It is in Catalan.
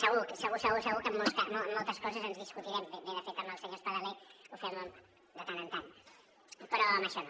segur segur segur que en moltes coses ens discutirem bé de fet amb el senyor espadaler ho fem de tant en tant però en això no